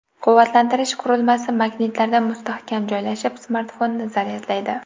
Quvvatlantirish qurilmasi magnitlarda mustahkam joylashib, smartfonni zaryadlaydi.